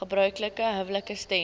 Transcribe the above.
gebruiklike huwelike stem